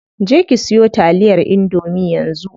Je ki siyo taliyar indomie yanzu.